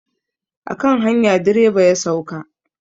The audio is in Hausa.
A kan hanya direba ya sauka.